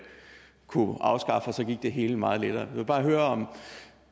det hele meget lettere jeg vil bare høre